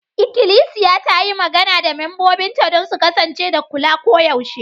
Ikilisiya ta yi magana da membobinta don su kasance da kula koyaushe.